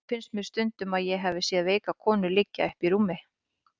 Þó finnst mér stundum sem ég hafi séð veika konu liggja uppi í rúmi.